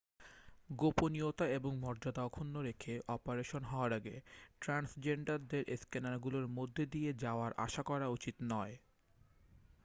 গোপনীয়তা এবং মর্যাদা অক্ষুণ্ণ রেখে অপারেশন হওয়ার আগে ট্রান্সজেন্ডারদের স্ক্যানারগুলোর মধ্য দিয়ে যাওয়ার আশা করা উচিত নয়